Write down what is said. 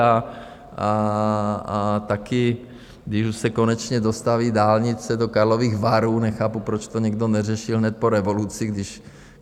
A taky, když už se konečně dostaví dálnice do Karlových Varů - nechápu, proč to někdo neřešil hned po revoluci, když...